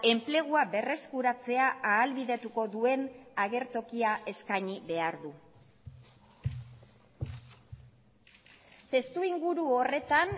enplegua berreskuratzea ahalbidetuko duen agertokia eskaini behar du testuinguru horretan